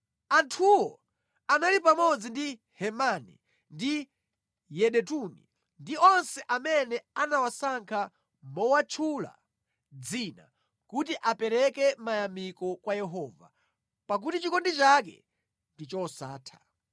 Anthuwo anali pamodzi ndi Hemani ndi Yedutuni ndi onse amene anawasankha mowatchula dzina kuti apereke mayamiko kwa Yehova, “pakuti chikondi chake ndi chosatha.”